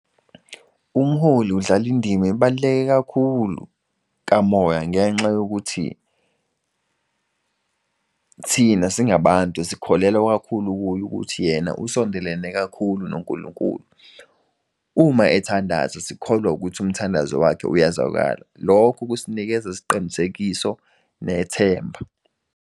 Umholi udlali indima ibaluleke kakhulu kamoya ngenxa yokuthi thina singabantu sikholelwa kakhulu kuye ukuthi yena usondelene kakhulu noNkulunkulu. Uma ethandaza sikholwa ukuthi umthandazo wakhe uyazwakala lokho kusinikeza isiqinisekiso nethemba.